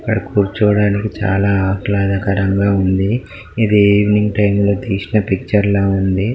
అక్కడ కూర్చోడానికి చాల ఆహ్లాదరంగా ఉంది ఇది ఈవెనింగ్ టైం లో తీసిన పిక్చర్ లా ఉంది